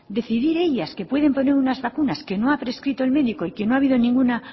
decidir ellas que pueden poner unas vacunas que no ha prescripto el médico y que no ha habido ninguna